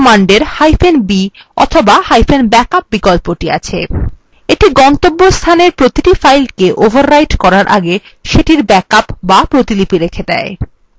mv command এরb অথবাব্যাকআপ বিকল্পটি আছে এটি গন্তব্যস্থানের প্রতিটি file overwrite করার আগে সেটির ব্যাকআপ b প্রতিলিপি রেখে দেয়